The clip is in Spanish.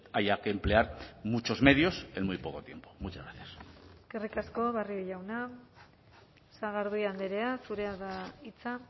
haya que emplear muchos medios en muy poco tiempo muchas gracias eskerrik asko barrio jauna sagardui andrea zurea da hitza